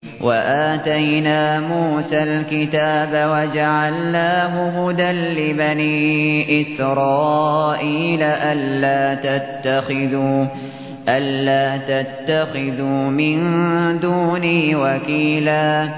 وَآتَيْنَا مُوسَى الْكِتَابَ وَجَعَلْنَاهُ هُدًى لِّبَنِي إِسْرَائِيلَ أَلَّا تَتَّخِذُوا مِن دُونِي وَكِيلًا